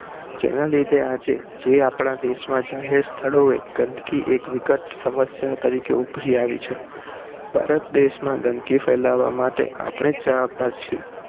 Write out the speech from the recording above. જેના લીધે આજે જે આપણા દેશ માં જાહેર સ્થાળો એ ગંદકી એક વિકટ સમસ્યા તરીકે ઉભરી આવી છે ભારત દેશ માં ગંદકી ફેલાવવા માટે આપણે જ જવાબદાર છે